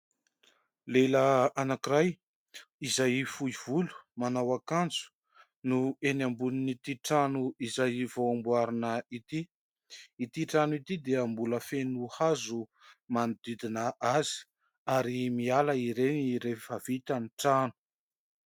Lehilahy anankiray izay fohy volo, manao akanjo no eny ambonin'ity trano izay vao amboarina ity. Ity trano ity dia mbola feno hazo manodidina azy ary miala ireny rehefa vita ny trano.